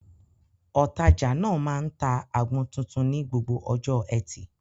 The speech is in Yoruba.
Òtajà náà máa ń ta àgbọn tuntun ní gbogbo ọjọ́ Ẹtì.